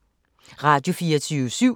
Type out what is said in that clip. Radio24syv